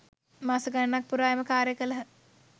මාස ගණනක් පුරා එම කාර්යය කළහ.